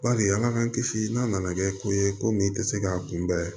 Bari ala k'an kisi n'a nana kɛ ko ye komi i tɛ se k'a kunbɛn